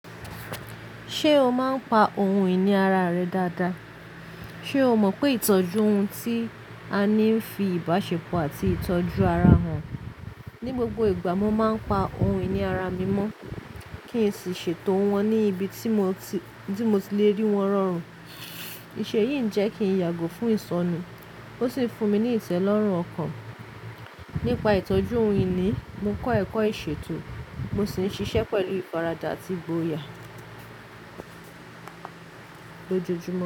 Ṣé o máa ń pa ohun ìní ara rẹ dáadáa? Ṣé o mọ̀ pé ìtọ́jú ohun tí a ní ń fi ìbáṣepọ̀ àti ìtọ́jú ara hàn? Ní gbogbo ìgbà mo máa ń pa ohun ìní ara mi mọ́ kí n sì ṣètò wọ́n ní ibi tí mo ti-- ti mo to rí wọ́n rọrùn. Ìṣe yìí ń jẹ́ kí ń yàgò fún ìsọnu. Ó sì ń fún mi ní ìtẹ́lọ́rùn ọkàn. Nípa ìtọ́jú ohun ìní, mo kọ́ ẹ̀kọ́ ìṣètò, mo sì ń ṣiṣẹ́ pẹ̀lú ìfàràdà àti ìgboyà lójoojúmọ́